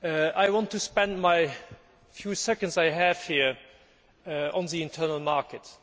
I want to spend the few seconds I have here on internal markets.